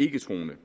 ikketroende